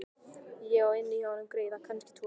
Ég á inni hjá honum greiða, kannski tvo.